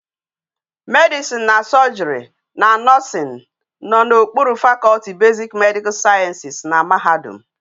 Medicine and surgery na Nursing, no na okpuru faculty basic medical sciences na mahadum